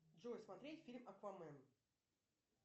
джой смотреть фильм аквамен